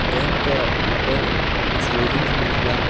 dam का ऊपर कुछ रेलिंग्स भी लगा हुआ--